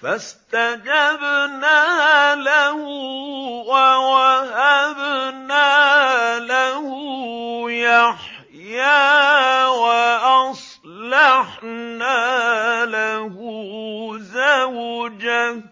فَاسْتَجَبْنَا لَهُ وَوَهَبْنَا لَهُ يَحْيَىٰ وَأَصْلَحْنَا لَهُ زَوْجَهُ ۚ